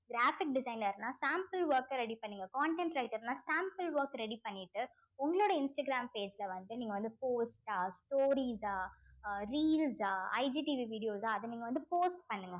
graphic designer ன்னா sample work அ ready பண்ணுங்க content writer ன்னா sample work ready பண்ணிட்டு உங்களுடைய இன்ஸ்டாகிராம் page ல வந்து நீங்க வந்து post ஆ stories ஆ அஹ் reels ஆ vi~ videos ஆ அத நீங்க வந்து post பண்ணுங்க